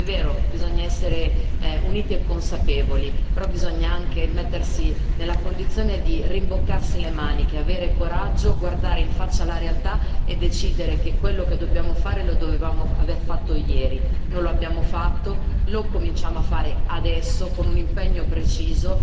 È vero, bisogna essere uniti e consapevoli, però bisogna anche mettersi nella condizione di rimboccarsi le maniche, avere coraggio, guardare in faccia la realtà e decidere che quello che dobbiamo fare lo dovevamo aver fatto ieri, non lo abbiamo fatto, lo cominciamo a fare adesso con un impegno preciso.